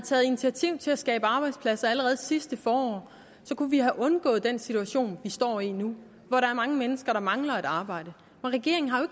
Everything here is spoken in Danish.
taget initiativ til at skabe arbejdspladser allerede sidste forår kunne vi have undgået den situation vi står i nu hvor der er mange mennesker der mangler et arbejde regeringen har jo